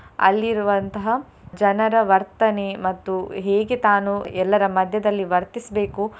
ಅಲ್ಲಿರುವಂತಹ ಜನರ ವರ್ತನೆ ಮತ್ತು ಹೇಗೆ ತಾನು ಎಲ್ಲರ ಮಧ್ಯದಲ್ಲಿ ವರ್ತಿಸ್ಬೇಕು.